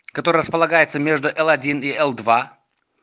который располагается между л-один и л-два